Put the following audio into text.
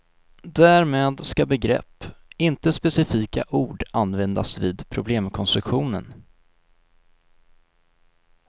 Därmed ska begrepp, inte specifika ord användas vid problemkonstruktionen.